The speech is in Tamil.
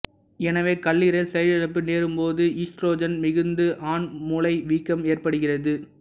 எனவே கல்லீரல் செயலிழப்பு நேரும் போது ஈஸ்ட்ரோஜன் மிகுந்து ஆண் முலை வீக்கம் ஏற்படுகிறது